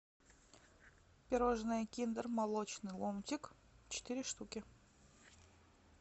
пирожное киндер молочный ломтик четыре штуки